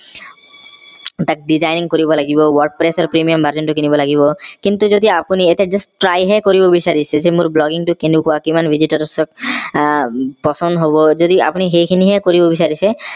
তাক designing কৰিব লাগিব wordpress premium version টো কিনিব লাগিব কিন্তু যদি আপুনি ইয়াতে just try হে কৰিব বিচাৰিছে যে মোৰ blogging টো কেনে কোৱা কিমান visitors আহ পছন্দ হব আপুনি সেই খিনি হে কৰিব বিচাৰিছে